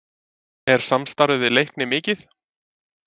Er samstarfið við Leikni mikið?